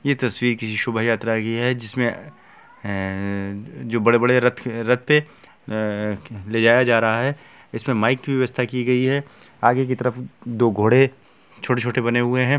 ये तस्वीर शुभ यात्रा की है जिसमे हय-हय जो बड़े-बड़े रथ रथे ले जाया जा रहा है जिसमे माइक की व्यवस्था की गई है आगे की तरफ दो घोड़े-छोटे छोटे बने हुए है।